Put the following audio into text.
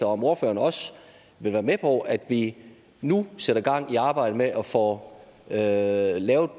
om ordføreren også vil være med på at vi nu sætter gang i arbejdet med at få lavet lavet